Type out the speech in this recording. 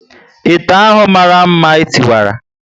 Ite ahụ mara mma e tiwara